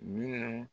Minnu